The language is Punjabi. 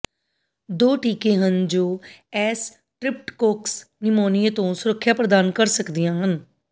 ਦੋ ਟੀਕੇ ਹਨ ਜੋ ਐਸ ਟ੍ਰਿਪਟਕੋਕਸ ਨਿਊਮੀਨੀਏ ਤੋਂ ਸੁਰੱਖਿਆ ਪ੍ਰਦਾਨ ਕਰ ਸਕਦੀਆਂ ਹਨ